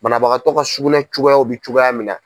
Banabagatɔ ka sugunɛ cogoyaw bɛ cogoya min na.